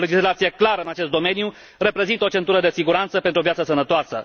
O legislație clară în acest domeniu reprezintă o centură de siguranță pentru o viață sănătoasă!